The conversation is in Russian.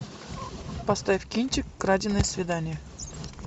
поставь кинчик краденое свидание